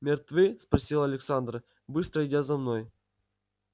мертвы спросила александра быстро идя за мной